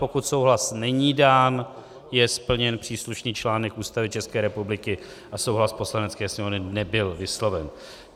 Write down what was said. Pokud souhlas není dán, je splněn příslušný článek Ústavy České republiky a souhlas Poslanecké sněmovny nebyl vysloven.